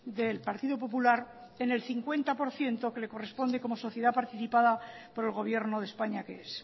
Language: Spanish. del partido popular en el cincuenta por ciento que le corresponde como sociedad participada por el gobierno de españa que es